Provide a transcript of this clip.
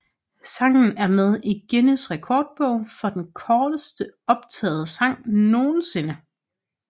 Sangen er med i Guinness Rekordbog for den korteste optagede sang nogensinde